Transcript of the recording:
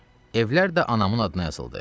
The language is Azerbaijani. Evlər də anamın adına yazıldı.